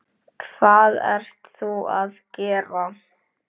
Hvað ert þú að gera?